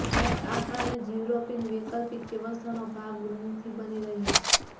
ભારત આ કારણે જ યૂરોપીન વૈકલ્પિક વ્યવસ્થાનો ભાગ નથી બની રહ્યું